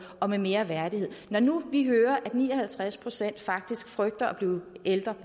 og med mere værdighed når nu vi hører at ni og halvtreds procent faktisk frygter at blive